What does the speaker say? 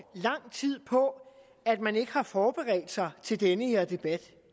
lang tid på at man ikke har forberedt sig til den her debat